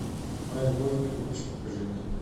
мою любовь не купишь покажи мне